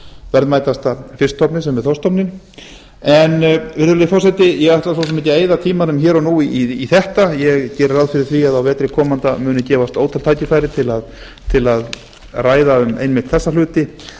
verðmætasta fiskstofni okkar sem er þorskstofninn virðulegi forseti ég ætla ekki að eyða meiri tíma í þetta nú ég geri ráð fyrir að á vetri komanda muni gefast ótal tækifæri til að ræða þessa hluti